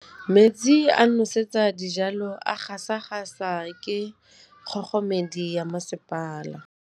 Metsi a go nosetsa dijalo a gasa gasa ke kgogomedi ya masepala.